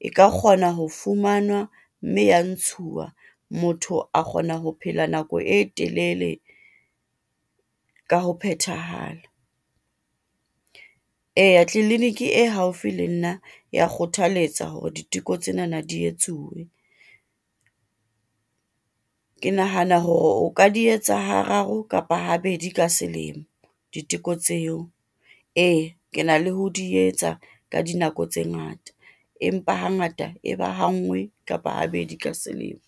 E ka kgona ho fumanwa, mme ya ntshuwa, motho a kgona ho phela nako e telele, ka ho phethahala. eya tleliniki e haufi le nna ya kgothaletsa hore diteko tsenana di etsuwe, ke nahana hore o ka di etsa hararo kapa ha bedi ka selemo diteko tseo. Ee ke na le ho di etsa ka dinako tse ngata, empa ha ngata e ba ha ngwe, kapa habedi ka selemo.